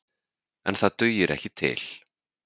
En það dugir ekki til.